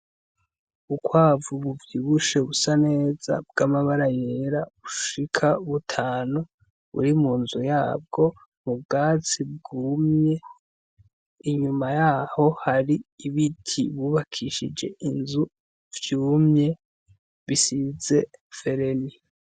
Ubukwavu buvyibushe bwamabara yera bushika butanu buri munzu yabwo mubwatsi bwumye, inyuma yaho hari ibiti bubakishije inzu vyumye bisize vereni.